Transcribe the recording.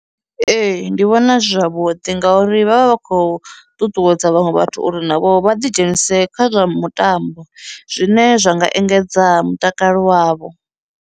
Ee, ndi vhona zwi zwavhuḓi ngauri vha vha vha khou ṱuṱuwedza vhaṅwe vhathu uri navho vha ḓi dzhenise kha zwa mutambo zwine zwa nga engedza mutakalo wavho.